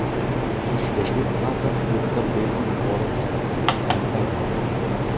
Qushbegi Plaza xududida bepul yuqori tezlikdagi Wi-Fi mavjud.